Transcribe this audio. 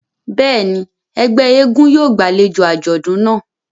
Bẹ́ẹ̀ni, ẹgbẹ èègún yóò gbàlejo àjọdun náa.